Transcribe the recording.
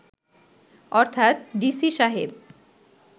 অর্থাৎ ডিসি সাহেব